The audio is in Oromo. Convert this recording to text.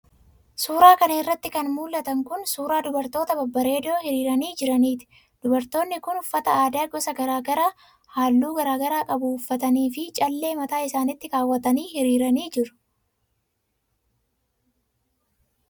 Suura kana irratti kan mul'atan kun ,suura dubartoota babbareedoo hiriiranii jiraniiti. Dubartoonni kun uffata aadaa gosa garaa garaa fi haalluu garaa garaa qabuu uffatanii fi callee mataa isaanitti kaawwatanii hiriiranii jiru.